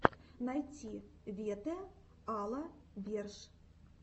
найти вете а ла верш